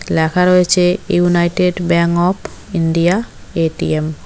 লেখা রয়েছে United Bank of India ATM.